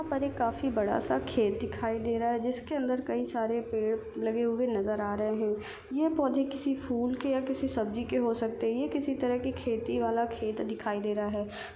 काफी बड़ा सा खेत दिखाई दे रहा है इसके अंदर कई सारे पेड़ लगे हुए नजर आ रहे है यह पौधे किसी फुल या किसी सब्जी के होसकते है यह किसी तरह की खेती वाला खेत दिखाई दे रहा है।